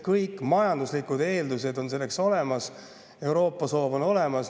Kõik majanduslikud eeldused on selleks olemas, Euroopa soov on olemas.